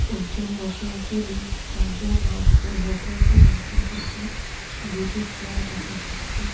একজন বসে আছে লোক চারজন হাট হেঁটে হেঁটে গল্প করছে দুটি চেয়ার দেখা যাচ্ছে।